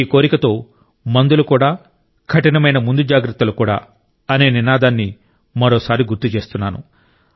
ఈ కోరికతో మందులు కూడా కఠినమైన ముందు జాగ్రత్తలు కూడా అనే నినాదాన్ని మరోసారి గుర్తు చేస్తున్నాను